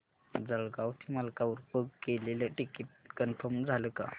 जळगाव ते मलकापुर बुक केलेलं ticket confirm झालं का